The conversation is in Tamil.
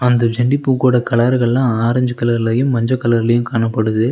அந்த செண்டி பூ கூட கலர்கள்லா ஆரஞ்சு கலர்லயு மஞ்ச கலர்லயு காணப்படுது.